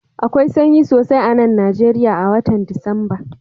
Akwai sanyi sosai a'nan Nijeriya a'wotan Disamba.